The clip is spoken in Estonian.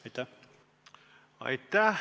Aitäh!